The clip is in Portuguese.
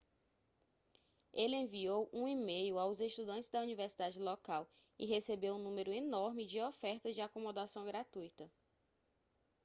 ele enviou um e-mail aos estudantes da universidade local e recebeu um número enorme de ofertas de acomodação gratuita